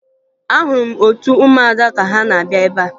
Ahụrụ m otu ụmụada ka ha na-abịa ebea